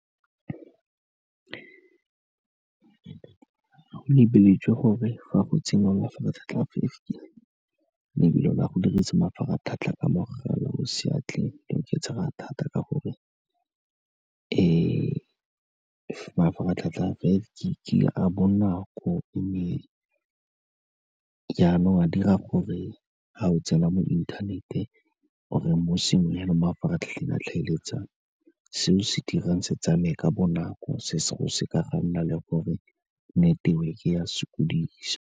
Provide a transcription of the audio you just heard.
Go lebeletswe gore fa go tsengwa mafaratlhatlha a five gig, lebelo la go dirisa mafaratlhatlha ka mogala o seatleng le oketsega thata ka gore mafaratlhatlha a five gig-e a bonako, mme jaanong a dira gore fa o tsela mo inthanet-e or-e mo sengwe fela mo mafaratlhatlheng a tlhaeletsano, seo se dirang se tsamaye ka bonako, se go seka ga nna le gore neteweke ya sokodisa.